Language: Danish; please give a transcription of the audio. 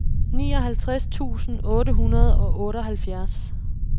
nioghalvtreds tusind otte hundrede og otteoghalvfjerds